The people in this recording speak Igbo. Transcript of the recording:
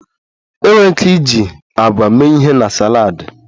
Enwere ike iji agwa mee ihe na saladi